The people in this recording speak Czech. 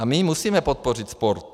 A my musíme podpořit sport.